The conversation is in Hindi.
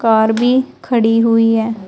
कार भी खड़ी हुई है।